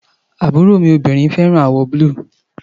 Àbúró mi féràn àwò búlù